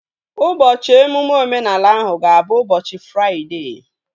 Ụbọchị emume omenala ahụ ga-abụ ụbọchị Fraịdee